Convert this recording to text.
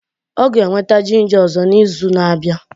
Ọ ga-eweta ginja ọzọ na izu na abịa